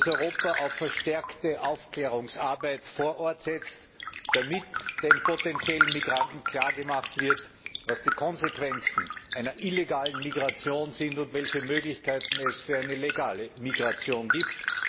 Europa auf verstärkte Aufklärungsarbeit vor Ort setzt, damit den potenziellen Migranten klargemacht wird, was die Konsequenzen einer illegalen Migration sind und welche Möglichkeiten es für eine legale Migration gibt.